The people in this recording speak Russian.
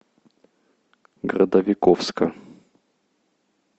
городовиковска